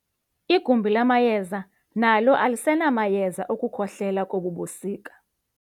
Igumbi lamayeza nalo alisenamayeza okukhohlela kobu busika.